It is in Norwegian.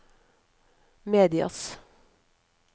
medias